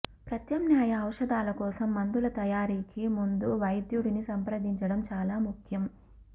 ప్రత్యామ్నాయ ఔషధాల కోసం మందుల తయారీకి ముందు వైద్యుడిని సంప్రదించడం చాలా ముఖ్యం